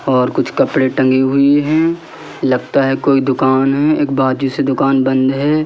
और कुछ कपड़े टंगी हुई हैं लगता है कोई दुकान है एक बाजू से दुकान बंद है।